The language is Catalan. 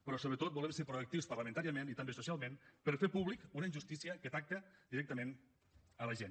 però sobretot volem ser proactius parlamentàriament i també socialment per fer pública una injustícia que afecta directament la gent